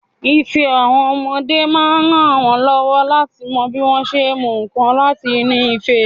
Ife àwọn ọmọdé máa ń rànwọ́ lọ́wọ́ láti mọ bí wọ́n ṣé ń mú nǹkan láti inú ife.